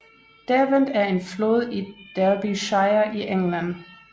Derwent er en flod i Derbyshire i England